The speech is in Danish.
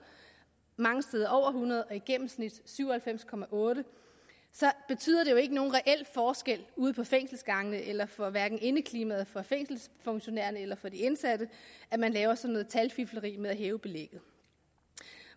mange steder over hundrede og i gennemsnit syv og halvfems otte så betyder det jo ikke nogen reel forskel ude på fængselsgangene eller for hverken indeklimaet for fængselsfunktionærerne eller for de indsatte at man laver sådan noget talfifleri med at hæve belægget